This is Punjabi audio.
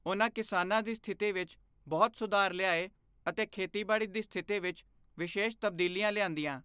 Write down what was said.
ਉਨ੍ਹਾਂ ਕਿਸਾਨਾਂ ਦੀ ਸਥਿਤੀ ਵਿੱਚ ਬਹੁਤ ਸੁਧਾਰ ਲਿਆਏ ਅਤੇ ਖੇਤੀਬਾੜੀ ਦੀ ਸਥਿਤੀ ਵਿੱਚ ਵਿਸ਼ੇਸ਼ ਤਬਦੀਲੀਆਂ ਲਿਆਂਦੀਆਂ।